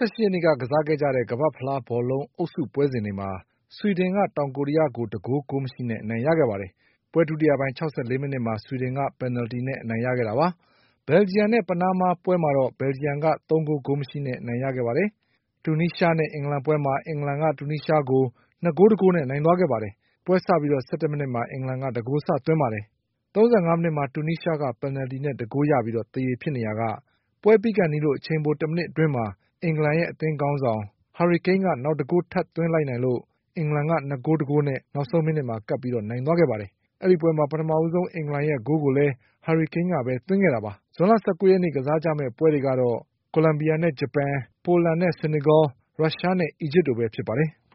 က်နေ့က ကစားခဲ့ကြတဲ့ ကမ္ဘာ့ဖလား ဘောလုံး အုပ်စုပွဲစဉ်တွေမှာ ဆွီဒင်က တောင်ကိုရီးယားကို ၁ ဂိုး ဂိုးမရှိနဲ့ အနိုင်ရသွားပါတယ်။ ပွဲဒုတိယပိုင်း မိနစ်မှာ ဆွီဒင်က ပယ်နယ်လ်တီနဲ့ အနိုင်ရခဲ့တာပါ။ ဘယ်ဂျီယံနဲ့ ပနားမားပွဲမှာ တော့ ဘယ်လဂျီယံက နိုင်သွားပါတယ်။ တူနီးရှားနဲ့ အင်္ဂလန်ပွဲမှာ အင်္ဂလန်က တူနီးရှားကို (၂ ဂိုး- ၁ဂိုးနဲ့)နိုင်ခဲ့ပါတယ်။ ပွဲစပြီး မိနစ်မှာ အင်္ဂလန်က ဂိုး စသွင်းခဲ့ပြီး ၊ မိနစ်မှာ တူနီးရှားက ပင်နလ်တီနဲ့ ၁ဂိုးရပြီး သရေဖြစ်နေရာက ပွဲပြီးခါနီး အချိန်ပို တစ်မိနစ်အတွင်းမှာ အင်္ဂလန်ရဲ့ အသင်းခေါင်းဆောင် Harry Kane ကနောက် ဂိုးထပ်သွင်းလိုက်နိုင်လို့ အင်္ဂလန်က ၂ ဂိုး- ၁ဂိုးနဲ့ နောက်ဆုံးမိနစ်မှာကပ်ပြီး နိုင်သွားတာပါ။ ဒီပွဲမှာ ပထမဆုံး အင်္ဂလန်ရဲ့ဂိုးကိုလည်း Harry Kane ကပဲ သွင်းခဲ့တာပါ။ ဇွန်လ ရက် ကစားကြမယ့်ပွဲတွေကတော့ ကိုလံဘီယာနဲ့ ဂျပန်၊ ပိုလန်နဲ့ ဆီနီဂေါ၊ ရုရှားနဲ့ အီဂျစ်တို့ပဲဖြစ်ပါတယ်။